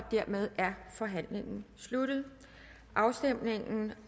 og dermed er forhandlingen sluttet afstemning